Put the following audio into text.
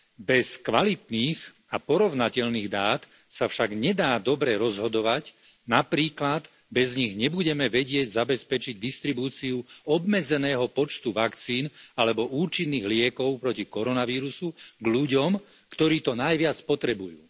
Bez kvalitných a porovnateľných dát sa však nedá dobre rozhodovať napríklad bez nich nebudeme vedieť zabezpečiť distribúciu obmedzeného počtu vakcín alebo účinných liekov proti koronavírusu ľuďom, ktorí to najviac potrebujú.